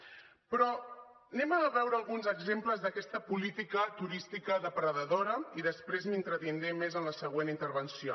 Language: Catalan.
però anem a veure alguns exemples d’aquesta política turística depredadora i després m’hi entretindré més en la següent intervenció